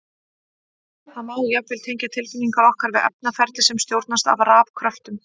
Það má jafnvel tengja tilfinningar okkar við efnaferli sem stjórnast af rafkröftum!